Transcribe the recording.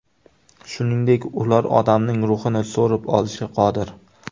Shuningdek, ular odamning ruhini so‘rib olishga qodir.